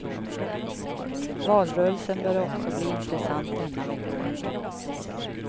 Valrörelsen bör också bli intressant denna vecka.